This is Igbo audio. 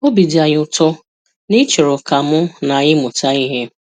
Obi dị anyị ụtọ na ị chọrọ ka mụ na anyị mụta ihe.